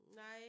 Nej